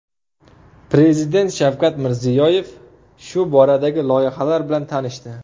Prezident Shavkat Mirziyoyev shu boradagi loyihalar bilan tanishdi.